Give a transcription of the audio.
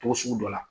Togo sugu dɔ la